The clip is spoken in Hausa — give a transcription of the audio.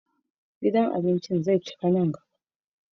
Gidan abincin za ta cika anjima